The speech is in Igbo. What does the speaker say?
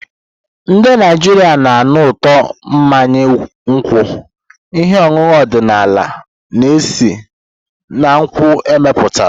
Ndị Naijiria na-anụ ụtọ mmanya nkwụ, ihe ọṅụṅụ ọdịnala a na-esi na nkwụ emepụtara.